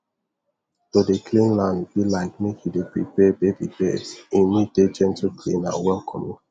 to dey clean land be like make you dey prepare baby bed e need dey gentleclean and welcoming